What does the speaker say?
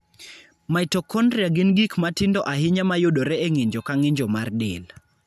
Mitochondria gin gik matindo ahinya mayudore e ng'injo ka ng'injo mar del.